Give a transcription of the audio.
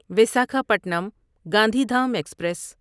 Visakhapatnam Gandhidham express